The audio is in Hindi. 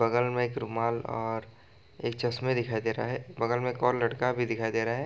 बगल में एक रुमाल और एक चश्मे दिखाई दे रहा है बगल में एक और लड़का भी दिखाई दे रहा है।